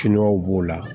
Kiɲɛw b'o la